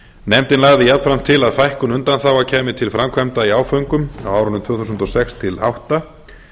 nefndin laga jafnframt til að fækkun undanþága kæmi til framkvæmda í áföngum á árunum tvö þúsund og sex til tvö þúsund og átta